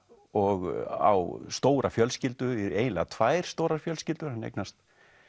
og á stóra fjölskyldu eiginlega tvær stórar fjölskyldur hann eignast